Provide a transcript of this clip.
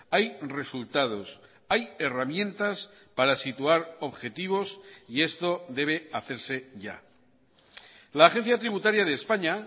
hay resultados hay herramientas para situar objetivos y esto debe hacerse ya la agencia tributaria de españa